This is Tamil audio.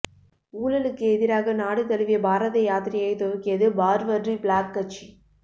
ஊழலுக்கு எதிராக நாடு தழுவிய பாரத யாத்திரையை துவக்கியது பார்வர்டு பிளாக் கட்சி